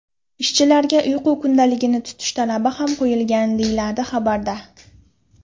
Ishchilarga uyqu kundaligini tutish talabi ham qo‘yilgan, deyiladi xabarda.